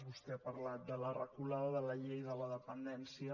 vostè ha parlat de la reculada de la llei de la dependència